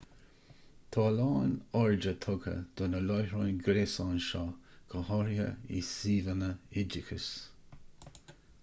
tá a lán airde tugtha ar na láithreáin ghréasáin seo go háirithe i suíomhanna oideachais